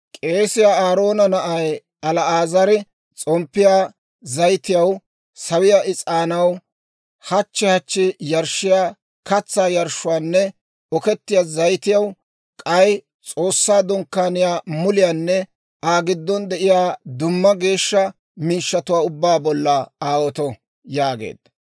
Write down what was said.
«K'eesiyaa Aaroona na'ay El"aazari s'omppiyaa zayitiyaw, sawiyaa is'aanaw, hachchi hachchi yarshshiyaa katsaa yarshshuwaanne okkiyaa zayitiyaw, k'ay S'oossaa Dunkkaaniyaa muliyaanne Aa giddon de'iyaa dumma geeshsha miishshatuwaa ubbaa bolla aawoto» yaageedda.